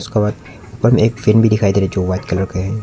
और ऊपर में एक फैन भी दिखाई दे रहा है जो वाइट कलर का है।